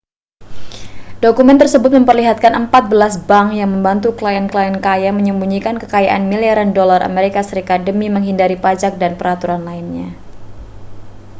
dokumen tersebut memperlihatkan empat belas bank yang membantu klien-klien kaya menyembunyikan kekayaan miliaran dolar as demi menghindari pajak dan peraturan lainnya